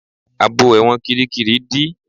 Àbò ẹ̀wọ̀n kíríkirì dí.